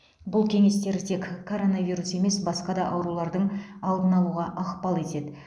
бұл кеңестер тек коронавирус емес басқа да аурулардың алдын алуға ықпал етеді